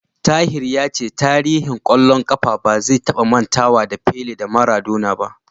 Tahir ya ce tarihin ƙwallon ƙafa ba zai taba mantawa da Pele da Maradona ba.